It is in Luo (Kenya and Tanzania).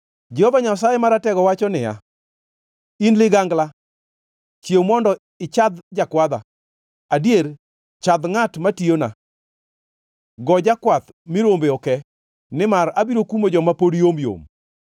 Jehova Nyasaye Maratego wacho niya, “In ligangla, chiew mondo ichadh jakwadha, adier, chadh ngʼat matiyona! Go jakwath mi rombe oke, nimar abiro kumo joma pod yomyom.”